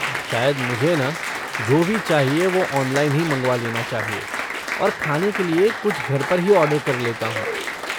शायद मुझे ना, जो भी चाहिए वो ऑनलाइन ही मँगवा लेना चाहिए और खाने के लिए कुछ घर पर ही ऑर्डर कर लेता हूँ।